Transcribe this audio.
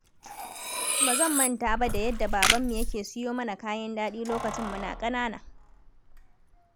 Ba zan manta ba da yadda babanmu yake siyo mana kayan daɗi lokacin muna ƙanana.